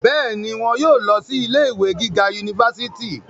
bẹ́ẹ̀ni, wọn yóò lọ sí ilé ìwé gíga unifásitì